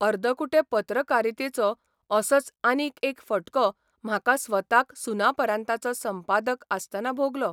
अर्दकुटे पत्रकारितेचो असोच आनीक एक फटको म्हाका स्वताक सुनापरान्ताचो संपादक आसतना भोगलो.